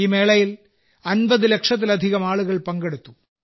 ഈ മേളയിൽ 50 ലക്ഷത്തിലധികം ആളുകൾ പങ്കെടുത്തു